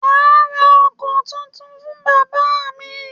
Mà á ra ọkọ títún fún bàbá mí.